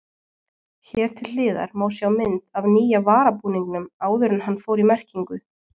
Hér til hliðar má sjá mynd af nýja varabúningnum áður en hann fór í merkingu.